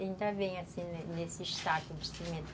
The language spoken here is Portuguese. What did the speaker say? Ainda vem, assim, nesse saco de cimento.